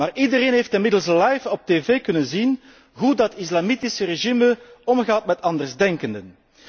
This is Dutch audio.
Maar iedereen heeft inmiddels live op tv kunnen zien hoe dat islamitische regime omgaat met andersdenkenden.